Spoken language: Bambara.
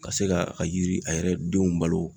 Ka se ka a yiri a yɛrɛ denw balo.